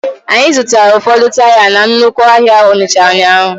Anyị zụtara ụfọdụ taya na nnukwu ahịa Onitsha ụnyahụ.